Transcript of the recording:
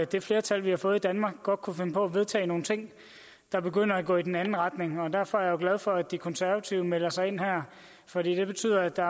det flertal vi har fået i danmark godt kunne finde på at vedtage nogle ting der begynder at gå i den anden retning og derfor er jeg glad for at de konservative melder sig ind her for det betyder at der